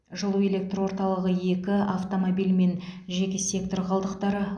жылу электор орталығы екі автомобиль мен жеке сектор қалдықтары